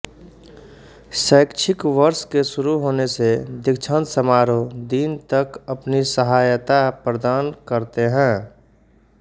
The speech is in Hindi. शैक्षिक वर्ष के शुरु होने से दीक्षांत समारोह दिन तक अपनी सहयता प्रदान करते है